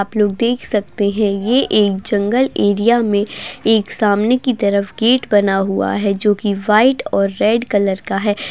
आप लोग देख सकते है ये एक जंगल एरिया में एक सामने के की तरफ एक गेट बना हुआ है जो कि वाइट और रेड कलर का है।